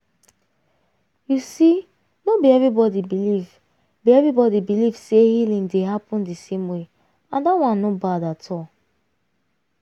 you see no be everybody believe be everybody believe say healing dey happen the same way and that one no bad at all.